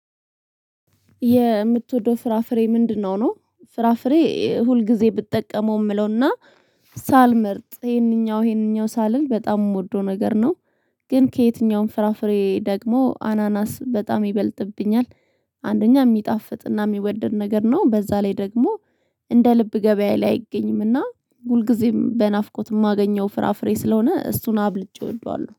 የምትወደው ፍራፍሬ ምንድነው? ነው ፍራፍሬ ሁልጊዜ ብጠቀመው የምለውና ሳልመርጥ ይሄንኛው ይሄንኛው ሳልል በጣም የምወደው ነገር ነው ግን ከየትኛውም ፍራፍሬ ደግሞ አናናስ በጣም ይበልጥብኛል። አንደኛ የሚጣፍጥና የሚወደድ ነገር ነው በዛ ላይ ደግሞ እንደ ልብ ገበያ ላይ አይገኝምና ሁልጊዜም በናፍቆት የማገኘው ፍራፍሬ ስለሆነ እሱን አብልጬ እወደዋለሁ